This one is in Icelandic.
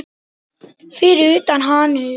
Fyrir utan hann og